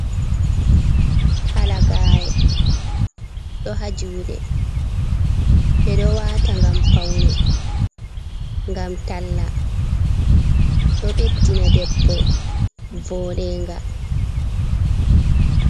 Halagare ɗo ha juɗe. Ɓeɗo wata ngam paune. Ngam talla, ɗo ɓeddina debbo voɗe nga.